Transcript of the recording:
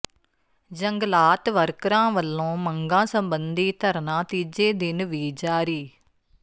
ਜੰਗਲਾਤ ਵਰਕਰਾਂ ਵੱਲੋਂ ਮੰਗਾਂ ਸਬੰਧੀ ਧਰਨਾ ਤੀਜੇ ਦਿਨ ਵੀ ਜਾਰੀ